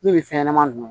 Min bɛ fɛn ɲɛnama ninnu